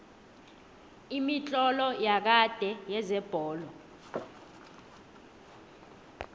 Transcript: imitlolo yakade yezebholo